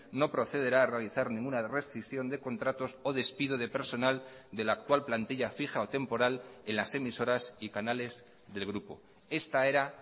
no procederá a realizar ninguna rescisión de contratos o despido de personal de la actual plantilla fija o temporal en las emisoras y canales del grupo esta era